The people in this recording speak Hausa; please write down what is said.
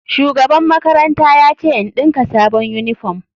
Shugaban makaranta ya ce in ɗinka sabon uniform.